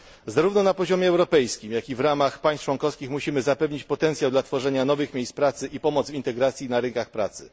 Zarówno na poziomie europejskim, jak i w ramach państw członkowskich musimy zapewnić potencjał dla tworzenia nowych miejsc pracy i pomoc w integracji na rynkach pracy.